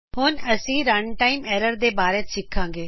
ਹੁਣ ਅਸੀ runtime errors ਦੇ ਬਾਰੇ ਸਿਖਾਂਗੇ